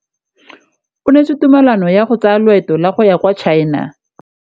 O neetswe tumalanô ya go tsaya loetô la go ya kwa China.